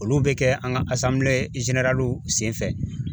Olu be kɛ an ga asanbile zeneraliw senfɛ